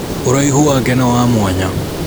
ũraihu wake nĩwamwanya